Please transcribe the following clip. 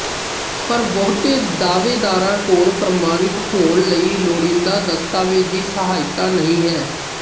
ਪਰ ਬਹੁਤੇ ਦਾਅਵੇਦਾਰਾਂ ਕੋਲ ਪ੍ਰਮਾਣਿਤ ਹੋਣ ਲਈ ਲੋੜੀਂਦਾ ਦਸਤਾਵੇਜ਼ੀ ਸਹਾਇਤਾ ਨਹੀਂ ਹੈ